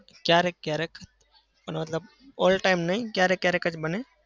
કયારેક કયારેક. પણ મતલબ all time નહિ કયારેક કયારેક જ બને.